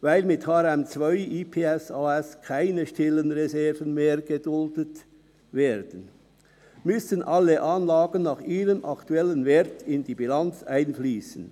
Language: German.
Weil mit HRM2/IPSAS keine stillen Reserven mehr geduldet werden, müssen alle Anlagen nach ihrem aktuellen Wert in die Bilanz einfliessen.